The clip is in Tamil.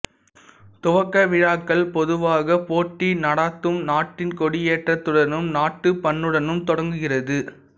துவக்க விழாக்கள் பொதுவாக போட்டி நடாத்தும் நாட்டின் கொடியேற்றத்துடனும் நாட்டுப்பண்ணுடனும் தொடங்குகிறது